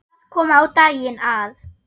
Það kom á daginn að